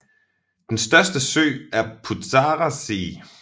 Den største sø er Putzarer See